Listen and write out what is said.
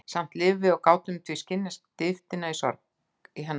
Samt lifðum við og gátum því skynjað dýptina í hennar sorg.